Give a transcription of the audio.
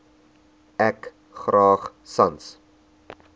ek graag sans